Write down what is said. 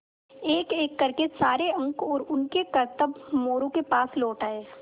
एकएक कर के सारे अंक और उनके करतब मोरू के पास लौट आये